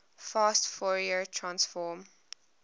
fast fourier transform